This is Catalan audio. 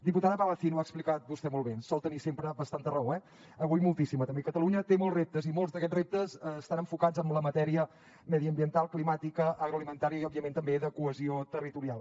diputada palacín ho ha explicat vostè molt bé sol tenir sempre bastanta raó eh avui moltíssima també catalunya té molts reptes i molts d’aquests reptes estan enfocats en la matèria mediambiental climàtica agroalimentària i òbviament també de cohesió territorial